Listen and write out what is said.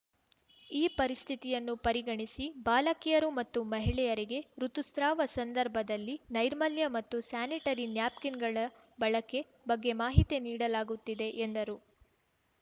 ಈ ಪರಿಸ್ಥಿತಿಯನ್ನು ಪರಿಗಣಿಸಿ ಬಾಲಕಿಯರು ಮತ್ತು ಮಹಿಳೆಯರಿಗೆ ಋತುಸ್ರಾವ ಸಂದರ್ಭದಲ್ಲಿ ನೈರ್ಮಲ್ಯ ಮತ್ತು ಸ್ಯಾನಿಟರಿ ನ್ಯಾಪ್ಕಿನ್‌ಗಳ ಬಳಕೆ ಬಗ್ಗೆ ಮಾಹಿತಿ ನೀಡಲಾಗುತ್ತಿದೆ ಎಂದರು